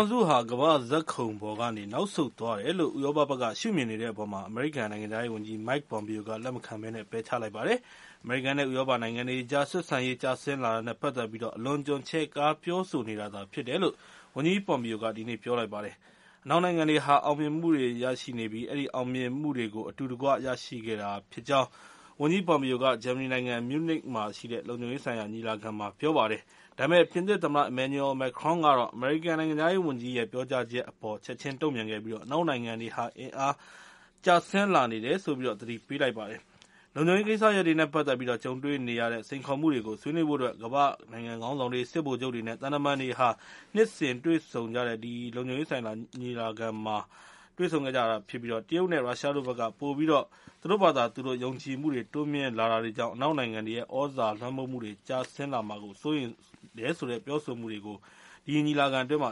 င်စုဟာ ကမ္ဘာ့ဇာတ်ခုံပေါ်ကနေ နောက်ဆုတ်သွားတယ်လို့ ဥရောပဘက်က ရှုမြင်နေတဲ့အပေါ်မှာ အမေရိကန် နိုင်ငံခြားရေးဝန်ကြီး Mike Pompeo က လက်မခံဘဲ ပယ်ချလိုက်ပါတယ်။ အမေရိကန်နဲ့ ဥရောပနိုင်ငံတွေကြားက ဆက်ဆံရေး ကျဆင်းလာတာနဲ့ ပတ်သက်ပြီး အလွန်အကျွံ ချဲ့ကားပြောဆိုနေတာသာ ဖြစ်တယ်လို့ ဝန်ကြီး Pompeo က ဒီနေ့ ပြောလိုက်ပါတယ်။ အနောက်နိုင်ငံတွေဟာ အောင်မြင်မှုတွေ ရရှိနေပြီး အဲဒီအောင်မြင်မှုတွေကို အတူတကွ ရရှိခဲ့တာဖြစ်တယ်လို့ ဝန်ကြီး Pompeo က ဂျာမနီနိုင်ငံ မြူးနစ်မြို့မှာရှိတဲ့ လုံခြုံရေးဆိုင်ရာ ညီလာခံမှာ ပြောလိုက်ပါတယ်။ ဒါပေမယ့် ပြင်သစ်သမ္မတ Emmanuel Macron ကတော့ အမေရိကန် နိုင်ငံခြားရေးဝန်ကြီးရဲ့ ပြောကြားချက်အပေါ် ချက်ချင်းတုံ့ပြန်ခဲ့ပြီး အနောက်နိုင်ငံတွေဟာ အင်အားလျော့ကျလာနေတယ်လို့ သတိပေးလိုက်ပါတယ်။ နှစ်စဉ်ကျင်းပတဲ့ ဒီ လုံခြုံရေးဆိုင်ရာ ညီလာခံကို ကမ္ဘာ့နိုင်ငံခေါင်းဆောင်တွေ၊ စစ်ဗိုလ်ချုပ်တွေနဲ့ သံတမန်တွေ တက်ရောက်ပြီး လုံခြုံရေးဆိုင်ရာ ကိစ္စရပ်တွေနဲ့ စိန်ခေါ်မှုတွေကို ဆွေးနွေးကြတာ ဖြစ်ပါတယ်။ အခုနှစ် ညီလာခံမှာတော့ တရုတ်နဲ့ ရုရှားတို့ဘက်က ပိုပြီးတော့ သူတို့ဘာသာ သူတို့ ယုံကြည်မှု တိုးမြှင့်လာတာတွေကြောင့် အနောက်နိုင်ငံတွေရဲ့ သြဇာလွှမ်းမိုးမှုတွေ ကျဆင်းလာမှာ စိုးရိမ်မှုတွေကို အ